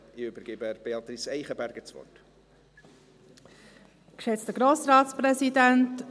Ich übergebe Beatrice Eichenberger das Wort.